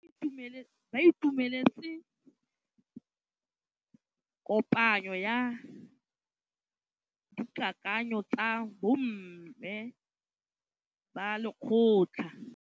Ba itumeletse kôpanyo ya dikakanyô tsa bo mme ba lekgotla.